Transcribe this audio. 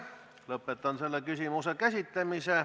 Lõpetan selle küsimuse käsitlemise.